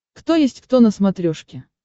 кто есть кто на смотрешке